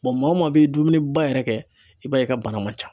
maa o maa bɛ dumuni ba yɛrɛ kɛ i b'a ye i ka bana man ca